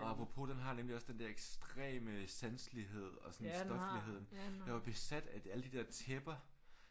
Og apropos den har nemlig også den der ekstreme sanselighed og sådan stofligheden. Jeg var besat af alle de der tæpper